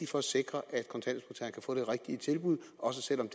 for at sikre at kontanthjælpsmodtagerne kan få det rigtige tilbud også selv om